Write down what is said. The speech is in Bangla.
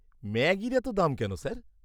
ম্যাগির এত দাম কেন, স্যার?